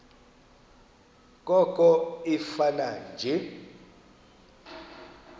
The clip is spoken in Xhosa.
koko ifane nje